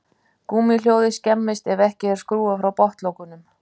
Gúmmíhjólið skemmist ef ekki er skrúfað frá botnlokunum.